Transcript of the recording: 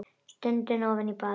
Stundi ofan í balann.